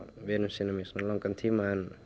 vinum sínum í svona langan tíma